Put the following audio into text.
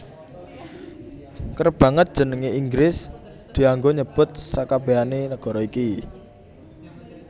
Kerep banget jeneng Inggris dianggo nyebut sakabèhané nagara iki